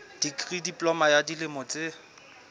dikri diploma ya dilemo tse